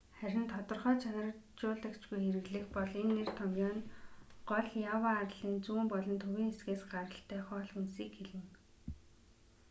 харин тодорхой чанаржуулагчгүй хэрэглэх бол энэ нэр томъёо нь гол ява арлын зүүн болон төвийн хэсгээс гаралтай хоол хүнсийг хэлнэ